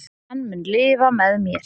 Hann mun lifa með mér.